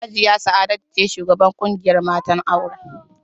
Hajiya Sa'adatu ce shugabar ƙungiyar matan auren